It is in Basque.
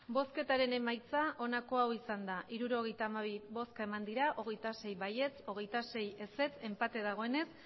emandako botoak hirurogeita hamabi bai hogeita sei ez hogeita sei abstentzioak hogei enpate dagoenez